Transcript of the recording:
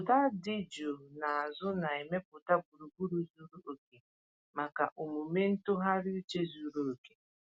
Ụda dị jụụ n’azụ na-emepụta gburugburu zuru oke maka omume ntụgharị uche zuru oke.